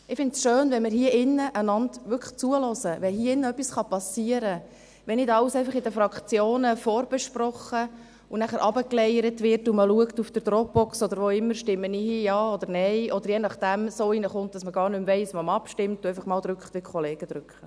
Ich finde es schön, wenn man einander hier drin zuhört, wenn hier drin etwas passieren kann, wenn nicht einfach alles in den Fraktionen vorbesprochen und nachher heruntergeleiert wird und man auf der Dropbox oder sonst irgendwo schaut, ob man hier Ja oder Nein stimmt, und es je nachdem so hineinkommt, dass man gar nicht mehr weiss, wie man abstimmt und einfach das drückt, was die Kollegen drücken.